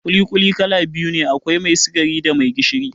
ƙuli-ƙuli kala biyu ne, akwai mai sikari da mai gishiri